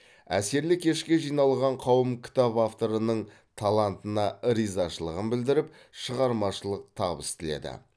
әсерлі кешке жиналған қауым кітап авторының талантына ризашылығын білдіріп шығармашылық табыс тіледі